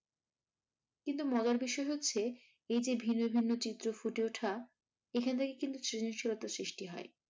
কিন্তু ভাবার বিষয় হচ্ছে এই যে ভিন্ন ভিন্ন চিত্র ফুটে ওঠা এখন থেকে কিন্তু শ্রেণীরশীলতা সৃষ্টি হয়।